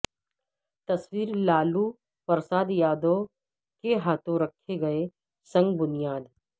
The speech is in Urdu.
تصویر لالو پرساد یادو کے ہاتھوں رکھے گئے سنگ بنیاد